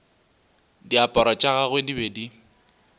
diaparo tša gagwe di be